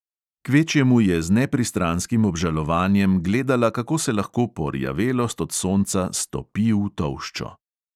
Kvečjemu je z nepristranskim obžalovanjem gledala, kako se lahko porjavelost od sonca stopi v tolščo.